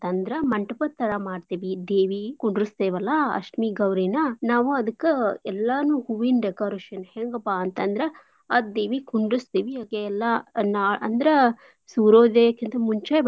ಮಂಟ್ಪ ತರಾ ಮಾಡ್ತೇವಿ ದೇವಿ ಕುಂಡ್ರಸ್ತೇವಲ್ಲಾ ಅಷ್ಟಮಿ ಗೌರೀನಾ ನಾವೂ ಅದ್ಕ ಎಲ್ಲಾನೂ ಹೂವೀನ್ decoration ಹೆಂಗಪ್ಪ ಅಂತಂದ್ರ ಆ ದೇವಿ ಕುಂಡ್ರಸ್ತೇವಿ ಅಕಿ ಎಲ್ಲಾ ನಾ~ ಅಂದ್ರ ಸೂರ್ಯೋದಯಕ್ಕಿಂತ ಮುಂಚೆ.